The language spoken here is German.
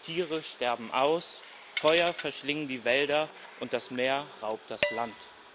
Tiere sterben aus, Feuer verschlingen die Wälder, und das Meer raubt das Land.